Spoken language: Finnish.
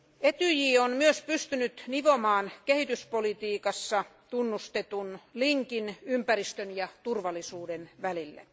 Etyj on myös pystynyt nivomaan kehityspolitiikassa tunnustetun linkin ympäristön ja turvallisuuden välille.